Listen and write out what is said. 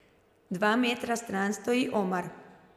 Dva metra stran stoji Omar.